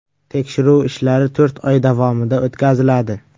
Tekshiruv ishlari to‘rt oy davomida o‘tkaziladi.